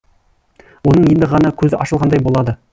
оның енді ғана көзі ашылғандай болады